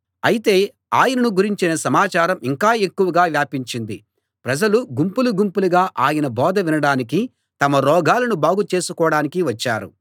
అయితే ఆయనను గురించిన సమాచారం ఇంకా ఎక్కువగా వ్యాపించింది ప్రజలు గుంపులు గుంపులుగా ఆయన బోధ వినడానికీ తమ రోగాలను బాగుచేసుకోడానికీ వచ్చారు